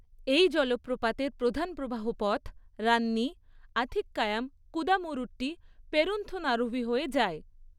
এই জলপ্রপাতের প্রধান প্রবাহপথ রান্নি আথিক্কায়াম কুদামুরুট্টি পেরুন্থনারুভি হয়ে যায়।